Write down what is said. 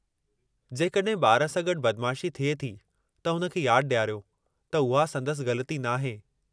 जेकॾहिं ॿार सां गडु॒ बदमाशी थिए थी त हुन खे यादि ॾियारियो त उहा संदसि ग़लिती नाहे।